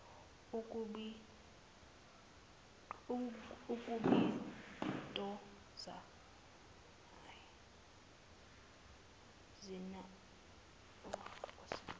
ukubitoza cinana wukwesutha